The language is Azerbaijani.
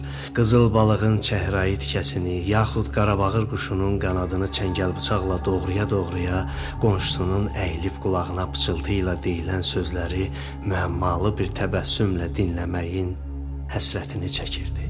Qızıl balığın çəhrayı tikəsini yaxud Qarabağır quşunun qanadını çəngəl-bıçaqla doğraya-doğraya qonşusunun əyilib qulağına pıçıltı ilə deyilən sözləri müəmmalı bir təbəssümlə dinləməyin həsrətini çəkirdi.